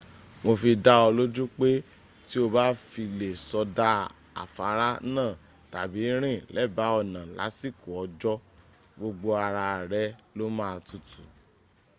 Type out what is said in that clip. mo fi dá ọ lójú pé tí o bá fi lè sọdá afárá náà tàbí rìn lẹba ọ̀nà lásìkọ òjò gbogbo ara rẹ lo máa tutù